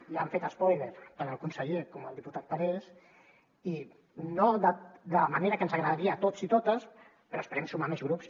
ja n’han fet espòiler tant el conseller com el diputat parés i no de la manera que ens agradaria a tots i totes però esperem sumar més grups